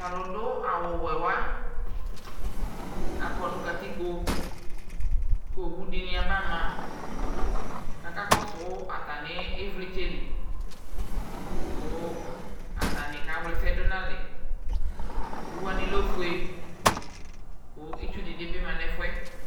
Talu duu awuwɛwa akɔɔ nu katikpo kowudini abama kaka kɔsuu atamivlitssɛli kuu atanii kawlɛsɛdu nalɛ Owuwani lɛ ofue kuu itsuu dibi ma nu ɛfuɛ